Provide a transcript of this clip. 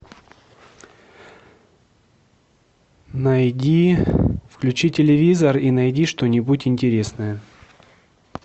найди включи телевизор и найди что нибудь интересное